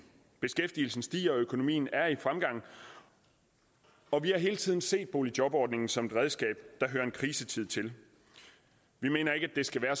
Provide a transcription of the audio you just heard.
beskæftigelsen stiger og økonomien er i fremgang og vi har hele tiden set boligjobordningen som et redskab der hører en krisetid til vi mener ikke at det skal være